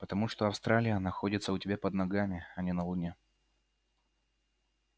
потому что австралия находится у тебя под ногами а не на луне